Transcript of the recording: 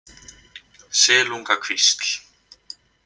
Silungakvísl